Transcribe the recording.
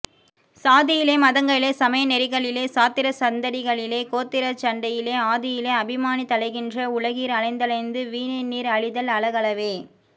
சாதியிலே மதங்களிலே சமயநெறி களிலேசாத்திரச்சந் தடிகளிலே கோத்திரச்சண் டையிலேஆதியிலே அபிமானித் தலைகின்ற உலகீர் அலைந்தலைந்து வீணேநீர் அழிதல்அழ கலவே